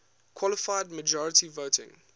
qualified majority voting